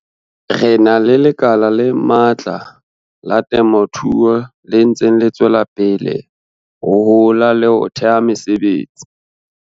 Re na le lekala le matla la temothuo le ntseng le tswela pele ho hola le ho theha mesebetsi.